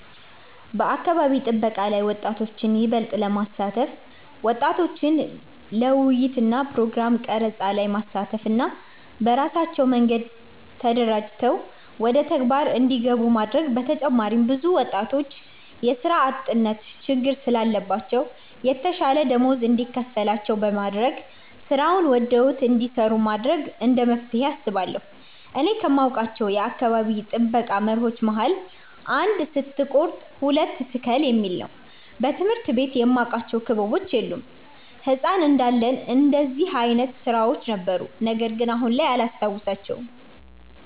በአካባቢ ጥበቃ ላይ ወጣቶችን ይበልጥ ለማሳተፍ ወጣቶችን ለውይይት እና ፕሮግራም ቀረፃ ላይ ማሳተፍ እና በራሳቸው መንገድ ተደራጅተው ወደተግባር እንዲገቡ ማድረግ በተጨማሪም ብዙ ወጣቶች የስራ አጥነት ችግር ስላለባቸው የተሻለ ደመወዝ እንዲከፈላቸው በማድረግ ስራውን ወደውት እንዲሰሩት ማድረግ እንደመፍትሄ አስባለሁ። እኔ ከማውቃቸው የአካባቢ ጥበቃ መርሆች መሀል "አንድ ስትቆርጥ ሁለት ትክል "የሚል ነው። በትምህርት ቤት የማቃቸው ክበቦች የሉም። ህፃን እንዳለን እንደዚህ አይነት ስራዎች ነበሩ ነገርግን አሁን ላይ አላስታውሳቸውም።